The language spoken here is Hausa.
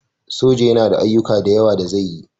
Soja yana da ayyuka da yawa da zai yi